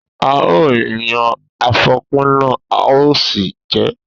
A ó yan àfòpíná a ó sì jẹ ẹ́.